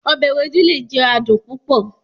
Ọbẹ Ewedu le jẹ adun pupọ